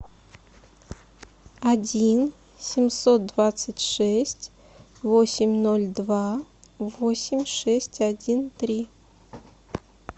один семьсот двадцать шесть восемь ноль два восемь шесть один три